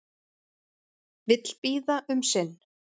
Vill bíða um sinn